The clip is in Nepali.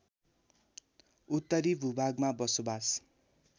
उत्तरी भूभागमा बसोवास